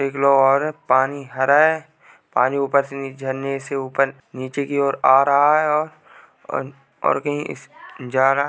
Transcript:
देख लो और पानी हरा है पानी ऊपर से नीचे झरने से ऊपर नीचे की ओर आ रहा है और अ क कहीं जा रहा है।